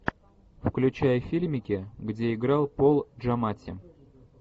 включай фильмики где играл пол джаматти